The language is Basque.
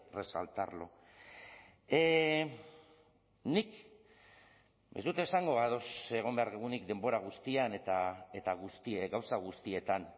resaltarlo nik ez dut esango ados egon behar dugunik denbora guztian eta guztiek gauza guztietan